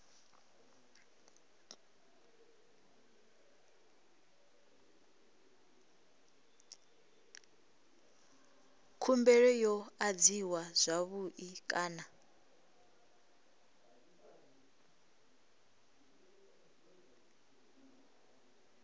khumbelo yo adziwa zwavhui kana